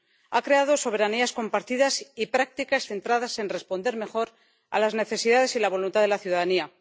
Ha creado soberanías compartidas y prácticas centradas en responder mejor a las necesidades y la voluntad de la ciudadanía.